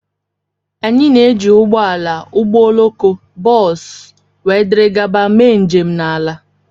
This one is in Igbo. Anyị na-eji ụgbọ ala, ụgbọ oloko, bọs, wdg mee njem n'ala.